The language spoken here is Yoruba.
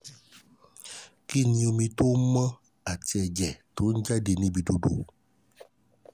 ki ni omi um to mo ati eje to n jade um lati ibi idodo?